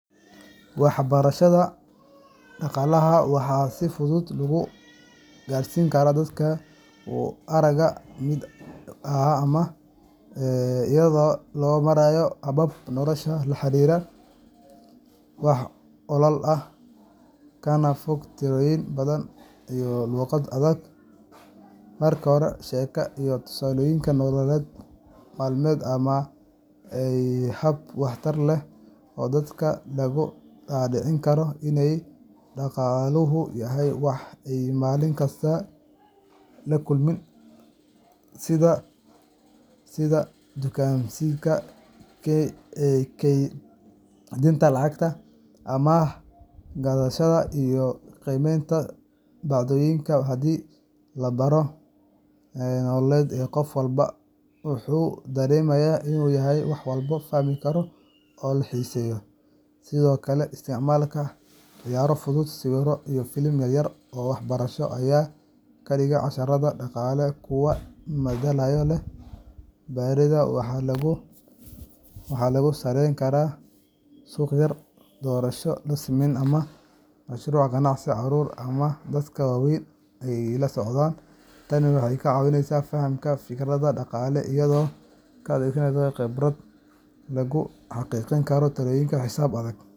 Waxbarashada dhaqaalaha waxaa si fudud loogu qaarsiin karaa dadka u arka mid adag ama iyadoo loo marayo habab noloshooda la xiriira, wax ku ool ah, kana fog tirooyin badan iyo luuqad adag. Marka hore, sheeko iyo tusaalooyin nolol maalmeed ayaa ah hab waxtar leh oo dadka looga dhaadhicin karo in dhaqaaluhu yahay wax ay maalin kasta la kulmaan sida dukaameysiga, kaydinta lacag, amaah qaadashada, iyo qiimeynta badeecooyinka. Haddii la baro in dhaqaaluhu yahay qayb ka mid ah go’aamada nololeed ee qof walba, waxay dareemayaan in uu yahay wax la fahmi karo oo la xiiseeyo. Sidoo kale, isticmaalka ciyaaro fudud, sawirro, iyo filimaan yar-yar oo waxbarasho ayaa ka dhigaya casharada dhaqaalaha kuwo madadaalo leh. Baridda waa in lagu saleeyaa waxqabad toos ah sida abaabulidda suuq yar, doorasho la sameeyo, ama mashruuc ganacsi carruurta ama dadka waaweyn ay la socdaan. Tani waxay ka caawisaa fahamka fikradaha dhaqaalaha iyadoo la adeegsanayo khibrad, halkii lagu xadidi lahaa tirooyin iyo xisaab adag.